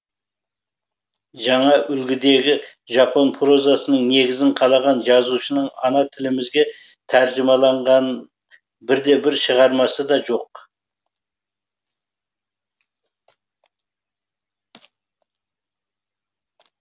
жаңа үлгідегі жапон прозасының негізін қалаған жазушының ана тілімізге тәржімаланған бірде бір шығармасы да жоқ